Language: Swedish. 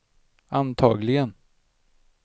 antagligen